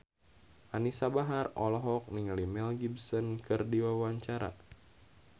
Anisa Bahar olohok ningali Mel Gibson keur diwawancara